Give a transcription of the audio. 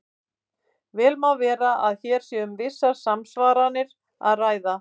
Vel má vera að hér sé um vissar samsvaranir að ræða.